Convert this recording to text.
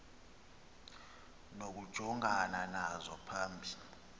nokujongana nazo phambi